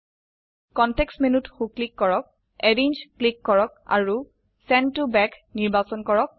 context menuত so click কৰক arrange click কৰক আৰু চেণ্ড ত বেক নিৰ্বাচন কৰক